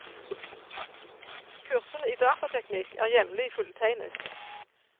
Kursene i datateknikk er jevnlig fulltegnet.